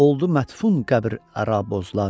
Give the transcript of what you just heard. Oldu mətfun qəbr əra bozlar.